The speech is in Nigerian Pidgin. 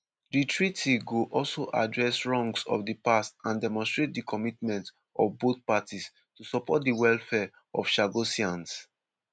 di treaty go also "address wrongs of di past and demonstrate di commitment of both parties to support di welfare of chagossians".